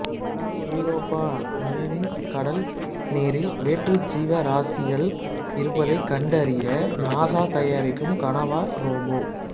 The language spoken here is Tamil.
யூரோப்பா நிலவின் கடல் நீரில் வேற்று ஜீவா ராசிகள் இருப்பதை கண்டறிய நாசா தயாரிக்கும் கணவாய் ரோபோ